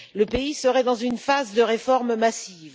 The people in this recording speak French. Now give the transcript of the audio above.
Le pays serait dans une phase de réformes massives.